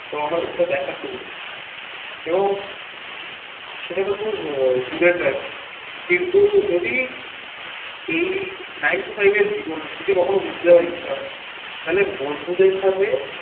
তো আমার ওটা দেখার খুব ইচ্ছা এবং সেটা তো খুব আহ দূরের জায়গা। কিন্তু যদি এই nine to five এর জীবনে যদি কখনো ঘুরতে যাওয়ার ইচ্ছা হয়, তাহলে বন্ধুদের সাথে